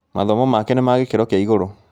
Mathomo make nĩ ma gĩkĩro kĩa igũrũ